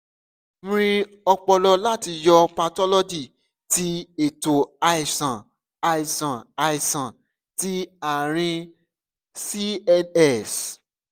mri ọpọlọ lati yọ pathology ti eto iṣan iṣan iṣan ti aarin cns